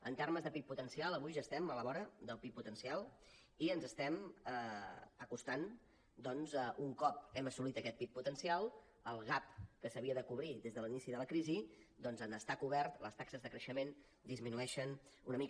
en termes de pib potencial avui ja estem a la vora del pib potencial i ens estem acostant doncs un cop hem assolit aquest pib potencial al gap que s’havia de cobrir des de l’inici de la crisi doncs en estar cobert les taxes de creixement disminueixen una mica